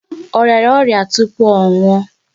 Ọ rịara ọrịa tupu ọ nwuọ?